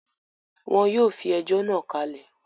Wọ́n yóò fi ẹjọ́ náà kalẹ̀